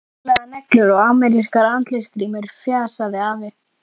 Með krullupinna, málaðar neglur og amerískar andlitsgrímur, fjasaði afi.